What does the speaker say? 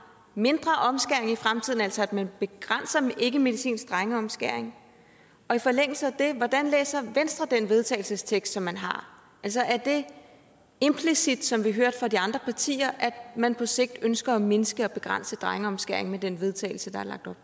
mindre omskæring i fremtiden altså at man begrænser ikkemedicinsk drengeomskæring og i forlængelse af det hvordan læser venstre den vedtagelsestekst som man har er det implicit som vi hørte fra de andre partier at man på sigt ønsker at mindske og begrænse drengeomskæring med den vedtagelse der